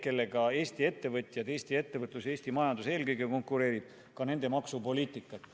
Nendega ju Eesti ettevõtjad, Eesti ettevõtlus, Eesti majandus eelkõige konkureerib.